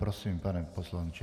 Prosím, pane poslanče.